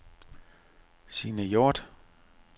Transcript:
Signe Hjorth